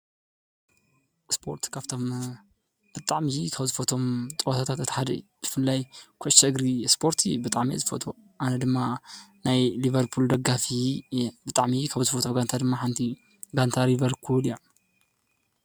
ስፖርት ካብቶም ብጣዕሚ ካብ ዝፈትዎም ፀወታታት እቲ ሓደ እዩ፡፡ ብፍላይ ኩዕሶ እግሪ ስፖርት ብጣዕሚ እየ ዝፈትዎ፡፡ ኣነ ድማ ናይ ሊቨርፑል ደጋፊ እየ። ብጣዕሚ ካብ ዝፈትዎ ጋንታ ድማ ሓንቲ ጋንታ ሊቨርፑል እያ፡፡